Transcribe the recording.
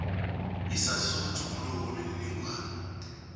isaziso sokutjhuguluka kwemininingwana